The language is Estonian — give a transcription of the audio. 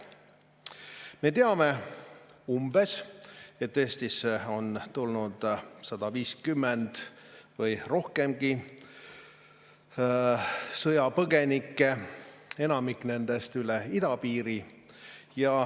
Me teame, et Eestisse on tulnud 150 või rohkemgi sõjapõgenikku, enamik nendest üle idapiiri.